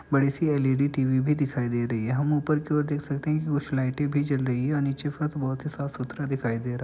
बड़ी सी L E D TV भी दिखाई दे रही है। हम ऊपर की ओर देख सकते हैं कुछ लाइटे भी जल रही हैं और नीचे फर्श बोहोत ही साफ़ सुथरा दिखाई दे रहा --